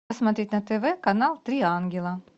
смотреть на тв канал три ангела